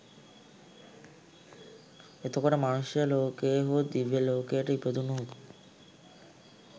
එතකොට මනුෂ්‍ය ලෝකයේ හෝ දිව්‍ය ලෝකයක ඉපදුණොත්